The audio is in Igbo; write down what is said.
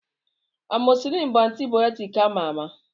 Amọzisilin bụ antibayọtik ama ama.